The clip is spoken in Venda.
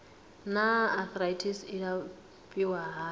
naa arthritis i nga alafhiwa hani